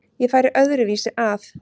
Ég færi öðru vísi að.